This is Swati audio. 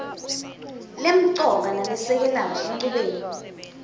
lemcoka nalesekelako enchubeni